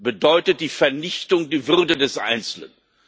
Er bedeutet die Vernichtung der Würde des Einzelnen.